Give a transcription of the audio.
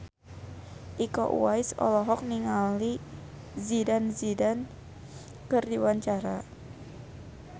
Iko Uwais olohok ningali Zidane Zidane keur diwawancara